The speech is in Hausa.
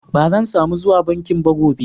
Ban zan samu zuwa bankin ba gobe.